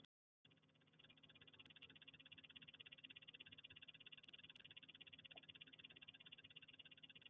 Hún sagði að þegar þetta hefði verið búið hefði pabbi hennar sagt: Hvað gerði ég?